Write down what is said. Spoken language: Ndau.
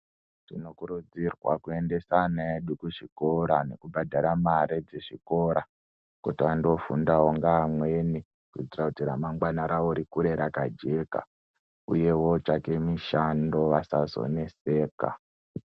Tinokurudzirwa kuendeswa ana edu kuzvikora nekubhadhara mari dzechikora kuti vandofundawo ngeamweni, kuitira ramangwana ravo rikure rakajeka uyewo vatsvake mishando kuti vasazonetseka.